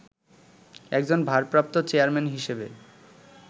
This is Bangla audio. একজন 'ভারপ্রাপ্ত চেয়ারম্যান' হিসেবে